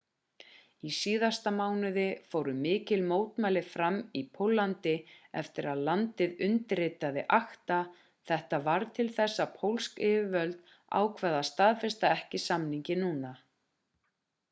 í síðasta mánuði fóru mikil mótmæli fram í póllandi eftir að landið undirritaði acta þetta varð til þess að pólsk yfirvöld ákváðu að staðfesta ekki samninginn núna